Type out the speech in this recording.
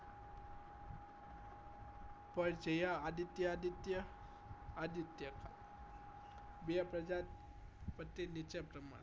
પર્જાયા આદિત્ય આદિત્ય આદિત્ય બે પ્રજાપતિ નીચે પ્રમાણે